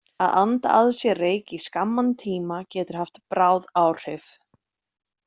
Að anda að sér reyk í skamman tíma getur haft bráð áhrif.